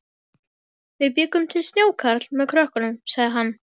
Við bjuggum til snjókarl með krökkunum, sagði hann.